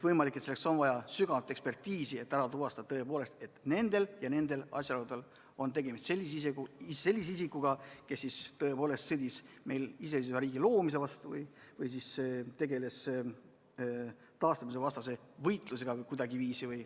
Võimalik, et selleks on vaja sügavamat ekspertiisi, et ära tuvastada: nendel ja nendel asjaoludel on tegemist sellise isikuga, kes tõepoolest kuidagiviisi sõdis meie iseseisva riigi loomise vastu või tegeles iseseisvuse taastamise vastase võitlusega vms.